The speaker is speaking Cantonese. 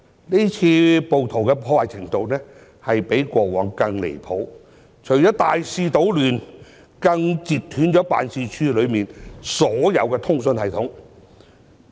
這次暴徒的破壞程度比過往更離譜，除了大肆搗亂，更截斷辦事處內的所有通訊系統。